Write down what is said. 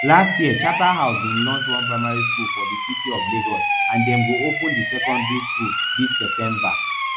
last year charterhouse bin launch one primary school for di city of lagos and dem go open di secondary school dis september